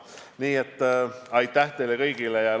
Nii et aitäh teile kõigile!